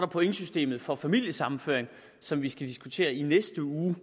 pointsystemet for familiesammenføring som vi skal diskutere i næste uge